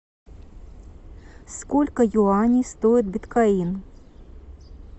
сколько юаней стоит биткоин